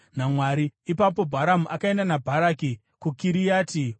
Ipapo Bharamu akaenda naBharaki kuKiriati Huzoti.